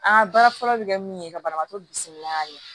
An ka baara fɔlɔ bɛ kɛ min ye ka banabagatɔ bisimila a ye